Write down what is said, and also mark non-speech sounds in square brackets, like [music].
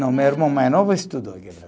Não, meu irmão mais novo estudou [unintelligible]